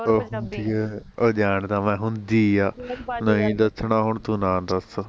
ਉਹ ਜਾਂਦਾ ਮੈਂ ਹੁੰਦੀ ਆ ਨਹੀਂ ਦੱਸਣਾ ਹੁਣ ਤੂੰ ਨਾ ਦੱਸ